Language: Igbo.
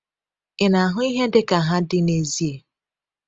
Ị na-ahụ ihe dịka ha dị n’ezie?